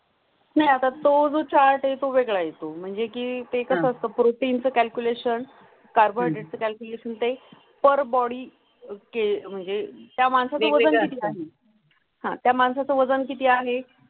मी आता तू चार्ट वेळा येतो म्हणजे कीं ते कसा आस्था प्रोटीन calculation, carbohydrate calculation ते पर बोडी अं म्हणजे त्या माणसाजवळ आहे. हां, त्या माणसाचं वजन किती आहे?